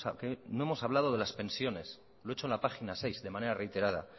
que no hemos hablado de las pensiones lo he hecho en la página seis de manera reiterada